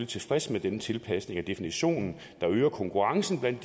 tilfreds med denne tilpasning af definitionen der øger konkurrencen blandt